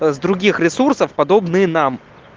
с других ресурсов подобные нам